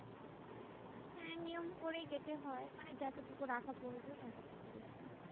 হ্যাঁ নিয়ম করে কেটে হয়। মানে যতটুকু রাখা প্রয়োজন অতও টুকু রেখি